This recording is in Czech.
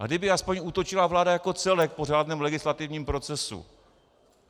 A kdyby aspoň útočila vláda jako celek po řádném legislativním procesu.